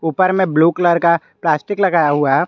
ऊपर में blue colour का प्लास्टिक लगाया हुआ है।